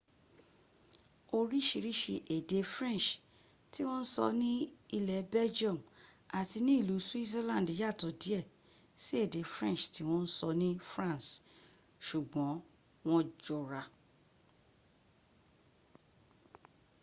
oríṣiríṣi èdè french tí wọ́n sọ ní ilé belgium àti ilú switzerland yàtọ̀ díẹ̀ sí èdè french tí wọ́n sọ ní france ṣùgbọ́n wọ jọra